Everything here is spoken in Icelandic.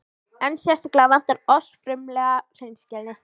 En sérstaklega vantar oss frumlega hreinskilni.